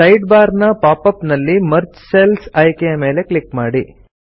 side bar ನ pop up ನಲ್ಲಿ merge cells ಆಯ್ಕೆಯ ಮೇಲೆ ಕ್ಲಿಕ್ ಮಾಡಿ